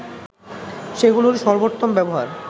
সেগুলির সর্বোত্তম ব্যবহার